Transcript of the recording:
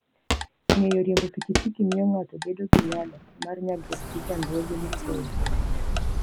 Ng'eyo riembo pikipiki miyo ng'ato bedo gi nyalo mar nyagruok gi chandruoge mapoya.